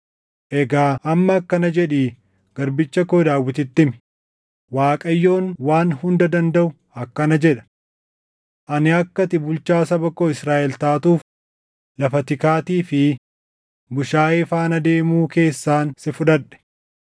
“Egaa amma akkana jedhii garbicha koo Daawititti himi; ‘ Waaqayyoon Waan Hunda Dandaʼu akkana jedha: Ani akka ati bulchaa saba koo Israaʼel taatuuf lafa tikaatii fi bushaayee faana deemuu keessaan si fudhadhe.